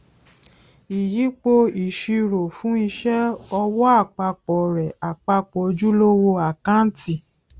ìyípo ìṣirò fún iṣẹ ọwọ àpapọ rẹ àpapọ ojúlówó àkáǹtì